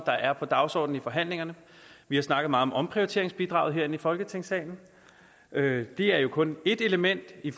der er på dagsordenen i forhandlingerne vi har snakket meget om omprioriteringsbidraget herinde i folketingssalen men det er jo kun ét element i